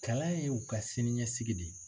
Kala ye u ka siniɲɛsigi de ye